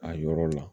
A yɔrɔ la